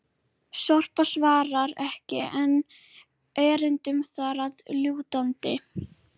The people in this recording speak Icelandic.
Sorpa svarar ekki enn erindum þar að lútandi!